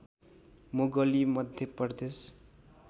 Mowgli Madhya Pradesh